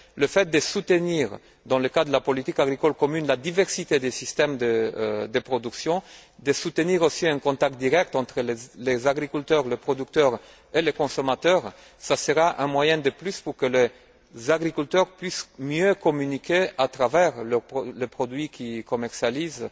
Le fait de soutenir, dans le cas de la politique agricole commune, la diversité des systèmes de production, de soutenir aussi un contact direct entre les agriculteurs, les producteurs et les consommateurs, sera un moyen de plus pour que les agriculteurs puissent mieux communiquer, à travers les produits qu'ils commercialisent,